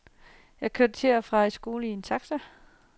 Jeg kørte til og fra skolen i en taxa.